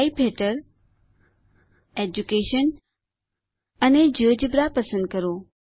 type હેઠળ education અને GeoGebra પસંદ કરો